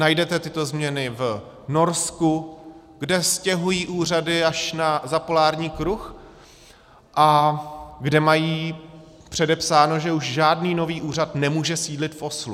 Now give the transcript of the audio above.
Najdete tyto změny v Norsku, kde stěhují úřady až za polární kruh a kde mají předepsáno, že už žádný nový úřad nemůže sídlit v Oslu.